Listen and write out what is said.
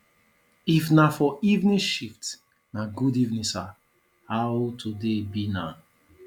if na for evening shift na good evening sir how today be na